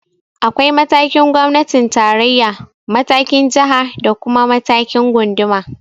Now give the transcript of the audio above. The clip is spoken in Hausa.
Akwai matakin gwamnatin tarayya, matakin jiha da kuma matakin gunduma.